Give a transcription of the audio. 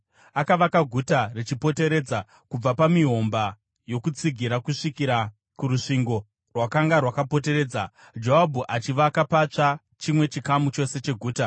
Akavaka guta richipoteredza, kubva pamihomba yokutsigira kusvikira kurusvingo rwakanga rwakapoteredza, Joabhu achivaka patsva chimwe chikamu chose cheguta.